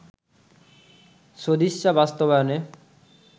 সদিচ্ছা বাস্তবায়নে